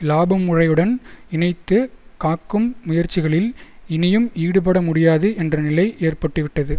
இலாபமுறையுடன் இணைத்து காக்கும் முயற்சிகளில் இனியும் ஈடுபடமுடியாது என்ற நிலை ஏற்பட்டுவிட்டது